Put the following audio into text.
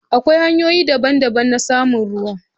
Akwai hanyoyi daban-daban na samun ruwa.